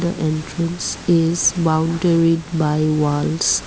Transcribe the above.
the entrance is boundaried by walls.